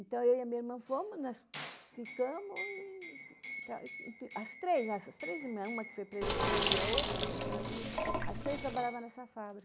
Então, eu e a minha irmã fomos, nós ficamos e... As três, essas três irmãs, uma que foi presa comigo e a outra, que é gêmea comigo, as três trabalhavam nessa fábrica.